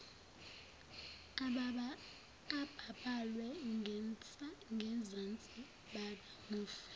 ababhalwe ngenzansi bakamufi